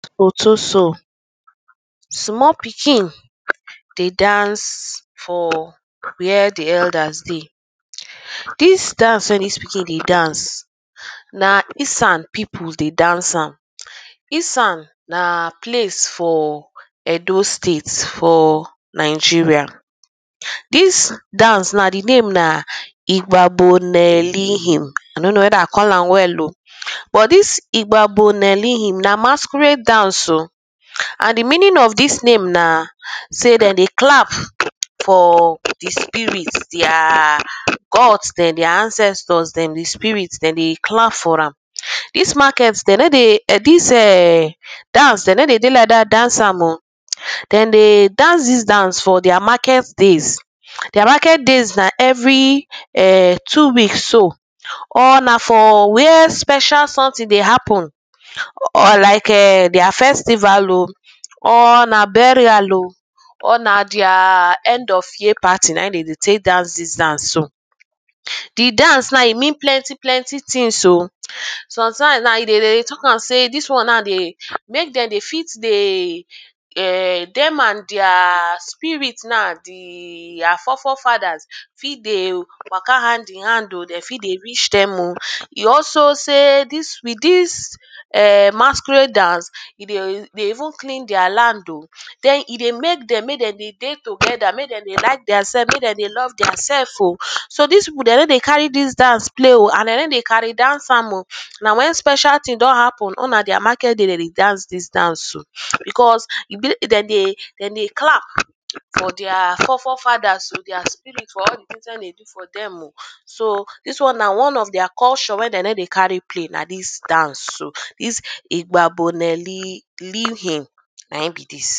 Oto show small pikin dey dance for where the elders dey this dance wey this pikin dey dance na Esan people de dance am esan na place for Edo state for Nigeria this dance na the name na igbabonelihim i no know whether i call am well o but this igbabonelihim na masqeurade dance o and the meaning of this name na sey dem dey clap for the spirit theirrr god dem their ancestor dem the spirit dem de clap for am this market dem no de[um]this eeehn dance dem no de dey like that dance am o them dey dance this dance for their market days their market days na every[um]two weeks so or na for where special something dey happen or like[um]their festival o or na burial o or na their end of year party na im dem dey take dance this dance so the dance now e mean plenty plenty things o sometimes na e de dey talk am sey this one na dey make dem dey fit de[um]dem and theirr spirit na theirr fore fore fathers fit de waka hand in hand dem fit dey reach them o e also say with this[um]masquerade dance e dey de even clean their land o then e dey make them make them de dey together make them dey like their self make dem love their self o so so this people dem no dey carry this dance play and dem no de cari dance am o na when special thing don happen or na their market day dem de dance this dance o because e be dem de dem dey clap for their fore fore father o their spirit for all the things wey e dey do for them o so this one na one of their culture wey dem no dey carry play na this dance o this igbaboneli linhim na im be this